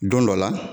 Don dɔ la